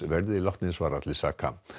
verði látnir svara til saka